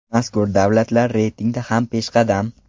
Mazkur davlatlar reytingda ham peshqadam.